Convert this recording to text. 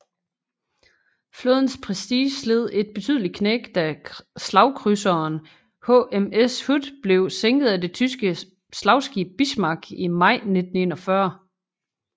Flådens prestige led et betydeligt knæk da slagkrydserern HMS Hood blev sænket af det tyske slagskib Bismarck i maj 1941